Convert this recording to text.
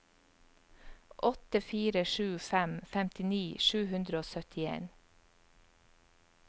åtte fire sju fem femtini sju hundre og syttien